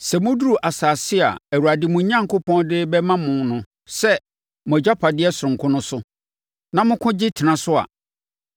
Sɛ moduru asase a Awurade, mo Onyankopɔn, de rebɛma mo sɛ mo agyapadeɛ sononko no so, na moko gye tena so a,